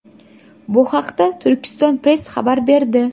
Bu haqda Turkiston Press xabar berdi .